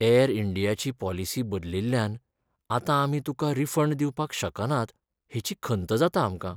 यॅर इंडियाची पॉलिसी बदलिल्ल्यान आतां आमी तुका रिफंड दिवपाक शकनात हेची खंत जाता आमकां.